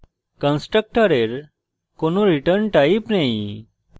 constructor কোনো return type নেই